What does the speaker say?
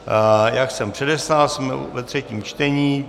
Jak jsem předeslal, jsme ve třetím čtení.